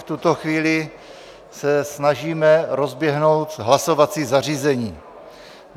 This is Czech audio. V tuto chvíli se snažíme rozběhnout hlasovací zařízení.